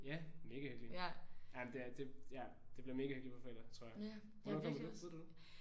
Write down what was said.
Ja mega hyggeligt. Jamen det ja det bliver mega hyggeligt på fredag tror jeg. Hvornår kommer du? Ved du det?